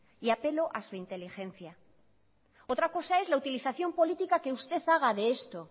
y apelo a su inteligencia otra cosa es la utilización política que usted haga de esto